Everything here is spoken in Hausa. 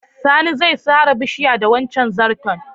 Sani zai sare bishiyar da wancen zarton.